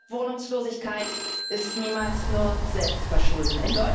Wohnungslosigkeit ist niemals nur Selbstverschulden.